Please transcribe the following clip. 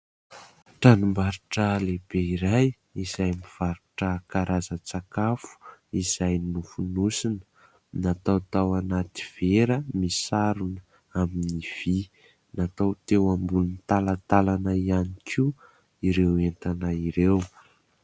Tranom-barotra lehibe iray izay mivarotra karazan-tsakafo izay nofonosina ; natao tao anaty vera misarona amin'ny vy ; natao teo ambonin'ny talantalana ihany koa ireo entana ireo.